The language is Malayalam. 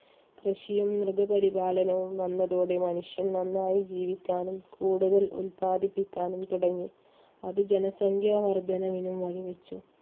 കൃഷിയും മൃഗപരിപാലനവും വന്നതോടെ മനുഷ്യൻ നന്നായി ജീവിക്കാനും കൂടുതൽ ഉല്പാദിപ്പിക്കാനും തുടങ്ങി. അത് ജനസംഖ്യ വർദ്ധനവിനും വഴിവെച്ചു.